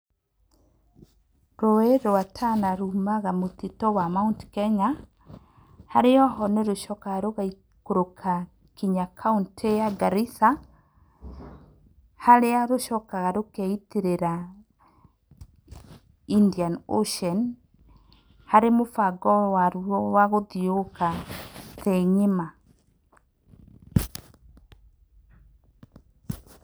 Rũũĩ rwa Tana rũmaga mũtitũ wa Mount Kenya, harĩa ho nĩrũcokaga rũgaikũrũka nginya kaũntĩ ya Garisa. Harĩa rũcokaga rũkeitĩrĩra Indian ocean, harĩ mũbango waruo wa gũthiũrũrũka thĩĩ ng'ima.